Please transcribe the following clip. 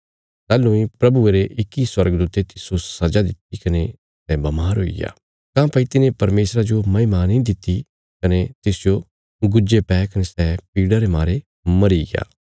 ताहलूं इ प्रभुये रे इक्की स्वर्गदूते तिस्सो सजा दित्ति कने सै बमार हुईग्या काँह्भई तिने परमेशरा जो महिमा नीं दित्ति कने तिसजो गुज्जे पै कने सै पीड़ा रे मारे मरीग्या